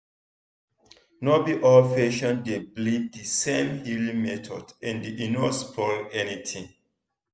no be all patients dey believe the same healing method and e no spoil anything.